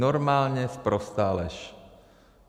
Normálně sprostá lež!